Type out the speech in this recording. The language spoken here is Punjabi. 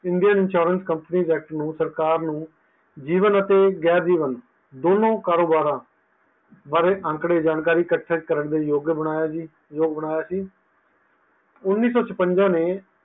Indian insurance company Act ਨੂੰ ਸਰਕਾਰ ਨੂੰ ਜੀਵਨ ਅਤੇ ਗੈਰ ਜੀਵਨ ਦੋਨੋਂ ਕਾਰੋਬਾਰਾਂ ਬਾਰੇ ਆਕੜੇ ਜਾਣਕਾਰੀ ਇਕੱਠੇ ਯੋਗ ਬਣਿਆ ਸੀ